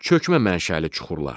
Çökmə mənşəli suxurlar.